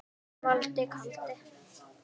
Valdi kaldi.